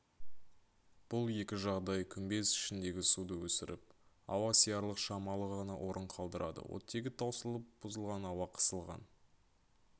бұл екі жағдай күмбез ішіндегі суды өсіріп ауа сиярлық шамалы ғана орын қалдырады оттегі таусылып бұзылған ауа қысылған